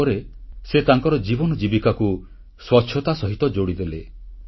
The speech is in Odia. ତାପରେ ସେ ତାଙ୍କର ଜୀବନ ଜୀବିକାକୁ ସ୍ୱଚ୍ଛତା ସହିତ ଯୋଡ଼ିଦେଲେ